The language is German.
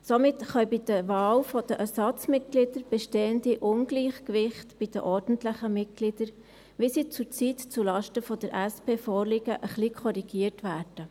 Somit können bei der Wahl der Ersatzmitglieder bestehende Ungleichgewichte bei den ordentlichen Mitgliedern, wie sie zurzeit zulasten der SP vorliegen, ein wenig korrigiert werden.